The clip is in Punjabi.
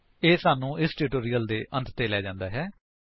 ਇਹ ਸਾਨੂੰ ਇਸ ਟਿਊਟੋਰਿਅਲ ਦੇ ਅੰਤ ਤੇ ਲੈ ਜਾਂਦਾ ਹੈ